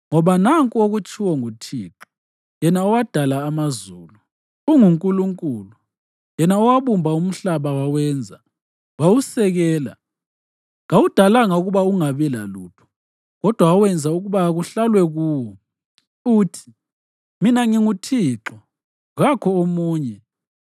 Ngoba nanku okutshiwo nguThixo yena owadala amazulu, unguNkulunkulu, yena owabumba umhlaba wawenza, wawusekela; kawudalanga ukuba ungabi lalutho, kodwa wawenza ukuba kuhlalwe kuwo, uthi: “Mina nginguThixo, kakho omunye.